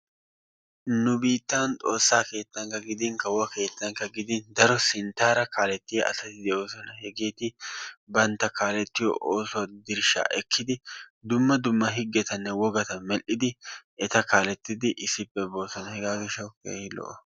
Nu biittan xoosaa keettankka gidin kawuwa keettankka gidin daro sinttaara kaalettiya asatti de'oosona. Hegeeti bantta kaalettiyo oosuwa dirshshaa ekidi dumma dumma higettanne wogatta medhdhid eta kaalettidi issippe boosona hegaa gishshawu keehi lo'o.